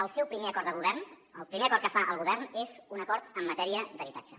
el seu primer acord de govern el primer acord que fa el govern és un acord en matèria d’habitatge